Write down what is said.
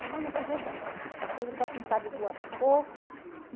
Semana que vem eu quero cortar meu cabelo, eu quero pintar de duas cor.